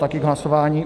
Taky k hlasování.